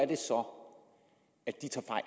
det tror jeg